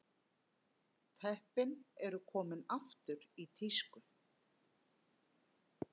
Teppin eru komin aftur í tísku